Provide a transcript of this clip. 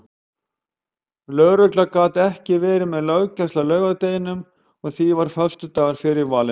Lögregla gat ekki verið með löggæslu á laugardeginum og því varð föstudagur fyrir valinu.